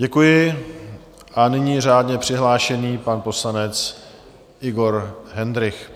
Děkuji a nyní řádně přihlášený pan poslanec Igor Hendrych.